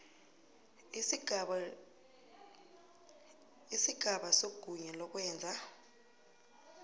isigaba segunya lokwenza